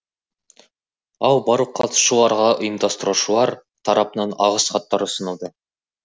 ал барлық қатысушыларға ұйымдастырушылар тарапынан алғысхаттар ұсынылды